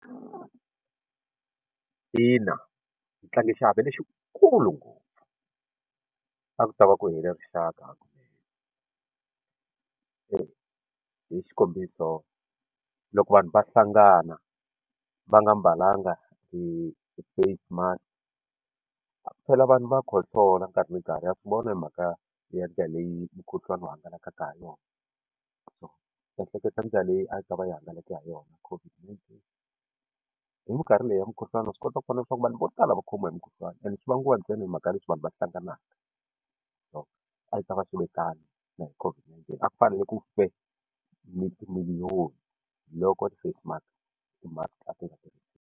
Ina yi tlange xiave lexikulu ngopfu a ku ta va ku hele vuxaka hakunene hi xikombiso loko vanhu va hlangana va nga mbalanga ti-face mask phela vanhu va khohlola nkarhi na nkarhi ha swi vona hi mhaka ya ndlela leyi mukhuhlwana wu hangalakaka ha yona so ehleketa ndlela leyi a yi ta va yi hangalake hi yona COVID-19 hi minkarhi leyi ya mukhuhlwani wa swi kota ku vona leswaku vanhu vo tala va khomiwa hi mukhuhlwani and swi vangiwa ntsena hi mhaka leswi vanhu va hlanganaka a yi ta va swi vitana na hi COVID-19 a ku fanele ku fe timiliyoni loko ti-face mask ti-mask a ti nga tirhangi.